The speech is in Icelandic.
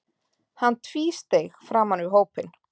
Hann tvísteig framan við hópinn.